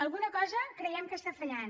alguna cosa creiem que està fallant